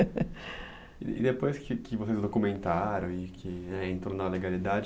E depois que vocês documentaram e que entrou na legalidade,